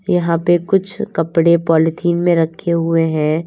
यहां पे कुछ कपड़े पॉलिथीन में रखे हुए हैं।